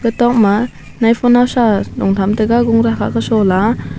tok ma naifo naosa long kham tega gura khak ke sola.